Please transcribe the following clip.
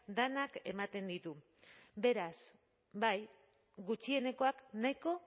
denak ematen ditu beraz bai gutxienekoak nahiko